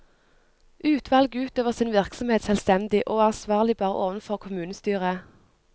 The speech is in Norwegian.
Utvalget utøver sin virksomhet selvstendig, og er ansvarlig bare overfor kommunestyret.